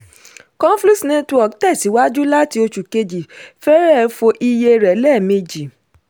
conflux network tẹ̀síwájú láti oṣù kejì fẹrẹ̀ fọ iye rẹ̀ lẹ́mejì.